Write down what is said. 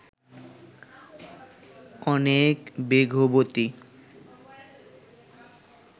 অনেক বেগবতী